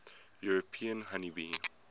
european honey bee